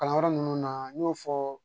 Kalanyɔrɔ ninnu na n y'o fɔ